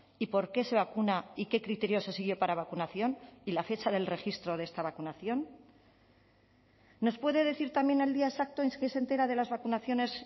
y por qué se vacuna y qué criterios se siguió para vacunación y la fecha del registro de esta vacunación nos puede decir también el día exacto en que se entera de las vacunaciones